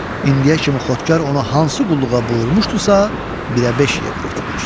İndiyə kimi xodkar ona hansı qulluğa buyurmuşdusa, birə-beş yerinə yetirmişdi.